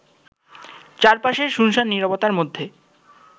চারপাশের সুনসান নীরবতার মধ্যে